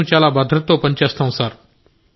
మేం చాలా భద్రతతో పని చేస్తాం సార్